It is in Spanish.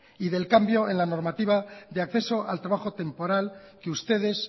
y del cambio en la normativa de acceso al trabajo temporal que ustedes